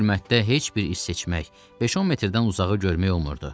Bu zülmətdə heç bir iz seçmək, beş-on metrdən uzağı görmək olmurdu.